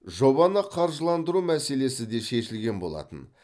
жобаны қаржыландыру мәселесі де шешілген болатын